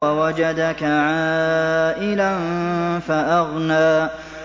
وَوَجَدَكَ عَائِلًا فَأَغْنَىٰ